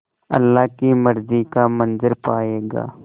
अल्लाह की मर्ज़ी का मंज़र पायेगा